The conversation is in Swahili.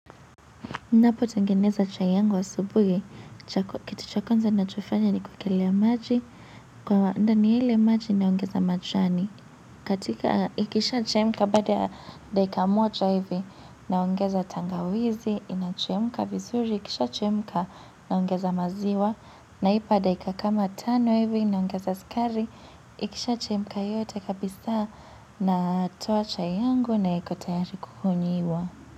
Napotengeneza chai yangu ya subuhi, kitu cha kwanza ninachofanya ni kuchemsha maji. Ndani ya yale maji naongeza majani. Ikisha chemka baada ya dakika moja hivi, naongeza tangawizi. Ikichemka vizuri, ikisha chemka naongeza maziwa, na ninaipa dakika kama tano hivi, naongeza sukari. Ikisha chemka yote kabisa, natoa chai yangu, na iko tayari kunywewa.